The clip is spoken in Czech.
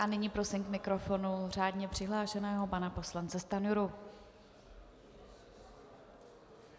A nyní prosím k mikrofonu řádně přihlášeného pana poslance Stanjuru.